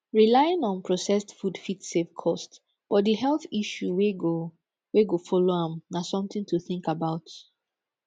relying on processed food fit save cost but di health issue wey go wey go follow am na something to think about